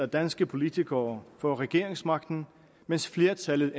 danske politikere får regeringsmagten mens flertallet